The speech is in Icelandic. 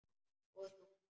Og þungt.